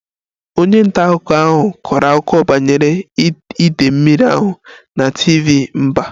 Onye nta akụkọ ahụ kọrọ akụkọ banyere idei mmiri ahụ na TV mba